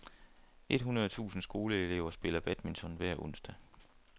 Et hundrede tusind skoleelever spiller badminton hver onsdag.